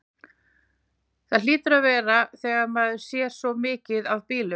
Það hlýtur að vera þegar maður sér svona mikið af bílum.